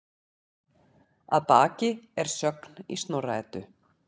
Að baki er sögn í Snorra-Eddu